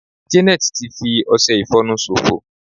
janet ti fi ọsẹ ifonu sofo